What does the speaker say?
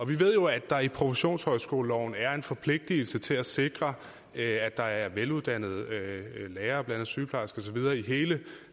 vi ved jo at der i professionshøjskoleloven er en forpligtelse til at sikre at der er veluddannede lærere sygeplejersker og så videre i hele